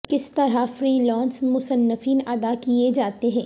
کس طرح freelance مصنفین ادا کیے جاتے ہیں